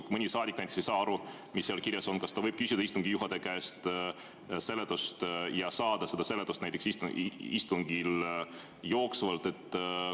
Kui mõni saadik näiteks ei saa aru, mis seal kirjas on, siis kas ta võib küsida istungi juhataja käest seletust ja saada seda seletust näiteks istungil jooksvalt?